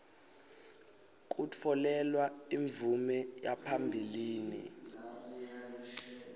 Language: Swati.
kutfolelwa imvume yaphambilini